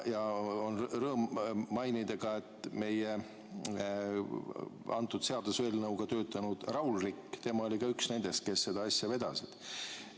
Rõõm on mainida, et ka selle seaduseelnõuga töötanud Raul Rikk oli üks nendest, kes seda asja vedasid.